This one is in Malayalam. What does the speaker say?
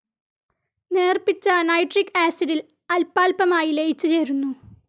നേർപിച്ച നൈട്രിക്‌ ആസിഡിൽ അൽപ്പാൽപ്പമായി ലയിച്ചുചേരുന്നു.